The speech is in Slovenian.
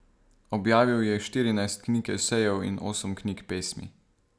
Objavil je štirinajst knjig esejev in osem knjig pesmi.